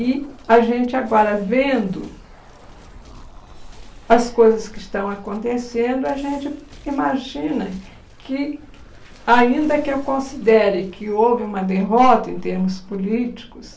E a gente agora vendo as coisas que estão acontecendo, a gente imagina que, ainda que eu considere que houve uma derrota em termos políticos,